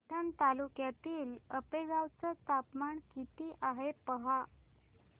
पैठण तालुक्यातील आपेगाव चं तापमान किती आहे पहा